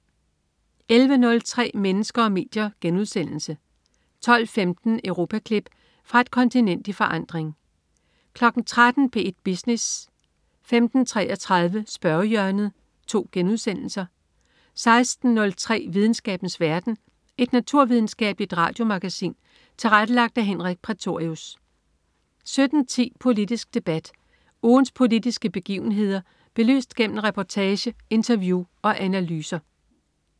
11.03 Mennesker og medier* 12.15 Europaklip. Fra et kontinent i forandring 13.00 P1 Business* 15.33 Spørgehjørnet* 16.03 Videnskabens verden. Et naturvidenskabeligt radiomagasin tilrettelagt af Henrik Prætorius 17.10 Politisk Debat. Ugens politiske begivenheder belyst gennem reportage, interview og analyser